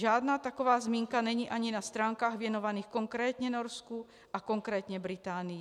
Žádná taková zmínka není ani na stránkách věnovaných konkrétně Norsku a konkrétně Británii.